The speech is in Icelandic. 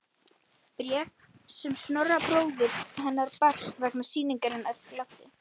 Bréf sem Snorra bróður hennar barst vegna sýningarinnar gladdi